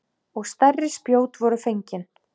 Og stærri spjót voru fengin.